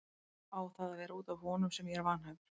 Á það að vera út af honum sem ég er vanhæfur?